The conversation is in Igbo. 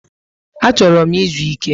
Achoro m izu Ike